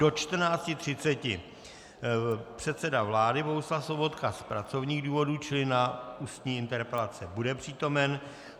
Do 14.30 předseda vlády Bohuslav Sobotka z pracovních důvodů, čili na ústní interpelace bude přítomen.